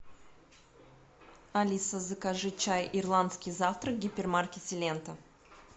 алиса закажи чай ирландский завтрак в гипермаркете лента